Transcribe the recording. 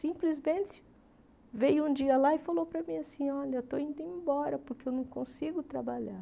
Simplesmente veio um dia lá e falou para mim assim, olha, estou indo embora porque eu não consigo trabalhar.